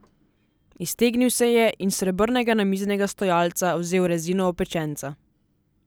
Iztegnil se je in s srebrnega namiznega stojalca vzel rezino opečenca.